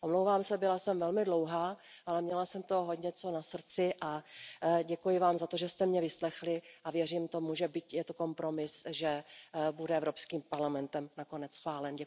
Omlouvám se, byla jsem velmi dlouhá, ale měla jsem toho hodně na srdci a děkuji vám za to, že jste mě vyslechli a věřím tomu, že byť je to kompromis, že bude Evropským parlamentem nakonec schválen.